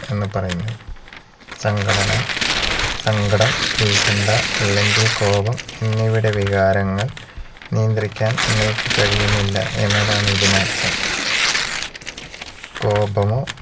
എന്ന് പറയുന്നു സങ്കടന സങ്കടം ഉൽകണ്ട അല്ലെങ്കിൽ കോപം എന്നിവയുടെ വികാരങ്ങൾ നിയന്ത്രിക്കാൻ നിങ്ങൾക്ക് കഴിയുന്നില്ല എന്നതാണ് ഇതിനർത്ഥം കോപമോ